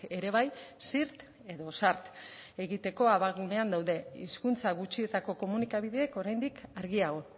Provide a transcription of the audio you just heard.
ere bai zirt edo zart egiteko abagunean daude hizkuntza gutxietako komunikabideek oraindik argiago